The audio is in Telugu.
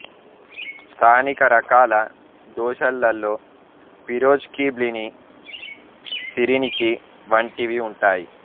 స్థానిక రకాల దోశలలో పిరోజ్కి బ్లిని సిరినికి వంటివి ఉంటాయి